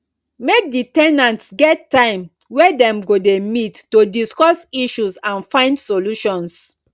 make di ten ants get time wey dem go de meet to discuss issues and find solutions